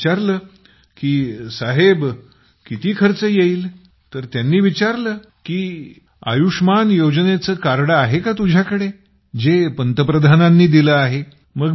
आम्ही विचारले की साहेब किती खर्च येईल तर त्यांनी विचारले की आयुष्मान कार्ड आहे का तुझ्याकडे जे पंतप्रधानांनी दिले आहे